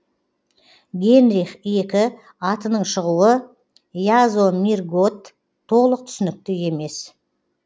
генрих екі атының шығуы язомирготт толық түсінікті емес